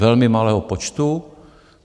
Velmi malého počtu.